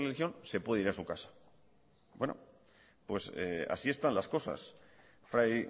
la religión se puede ir a su casa bueno pues así están las cosas fray